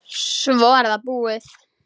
Svo er það búið.